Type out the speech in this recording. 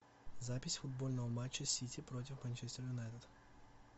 запись футбольного матча сити против манчестер юнайтед